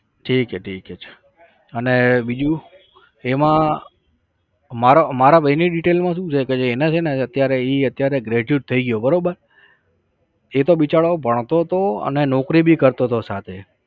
ઠીક છે ઠીક છે ઠીક છે અને બીજું એમાં. મારા મારા ભાઈની detail માં સુ છે એના છે ને અત્યારે ઇ graduate થાય ગયો બરોબર એતો બિચારો ભણતો હતો અને નોકરી બી કરતો હતો સાથે